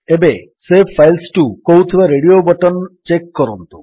ଏବେ save files to କହୁଥିବା radio button check କରନ୍ତୁ